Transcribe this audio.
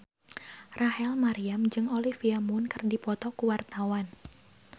Rachel Maryam jeung Olivia Munn keur dipoto ku wartawan